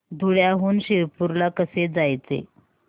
धुळ्याहून शिरपूर ला कसे जायचे